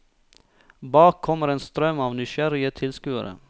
Bak kommer en strøm av nysgjerrige tilskuere.